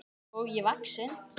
skógi vaxinn.